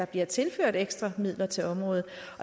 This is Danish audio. bliver tilført ekstra midler til området